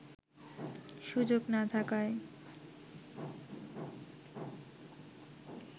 সুযোগ না থাকায়